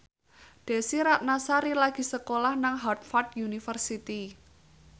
Desy Ratnasari lagi sekolah nang Harvard university